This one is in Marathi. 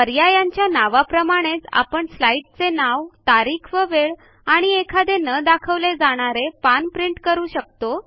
पर्यायांच्या नावाप्रमाणेच आपण स्लाईडचे नाव तारीख व वेळ आणि एखादे न दाखवले जाणारे पान प्रिंट करू शकता